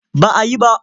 Ba a yi ba.